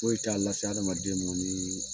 Foyi t'a la adamaden ma ni